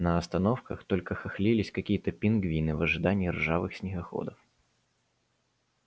на остановках только хохлились какие-то пингвины в ожидании ржавых снегоходов